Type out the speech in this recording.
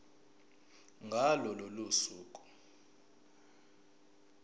ngalo lolo suku